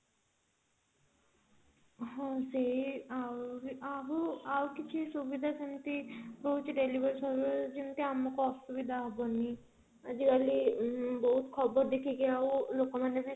ହଁ ଆଉ ଆଉ ଆଉ କିଛି ସୁବିଧା ସେମିତି କିଛି ରହୁଛି delivery serviceର ଯେମିତି ଆମକୁ ଅସୁବିଧା ହବନି ଆଜିକାଲି ବହୁତ ଖବର ଦେଖିକି ବି ଲୋକମାନେ